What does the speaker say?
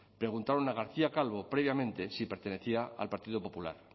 preguntaron a garcía calvo previamente si pertenecía al partido popular